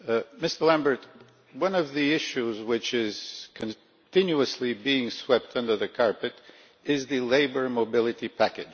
Mr Lamberts, one of the issues which are continuously being swept under the carpet is the Labour Mobility Package.